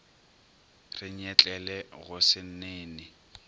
re nyetlele go se nene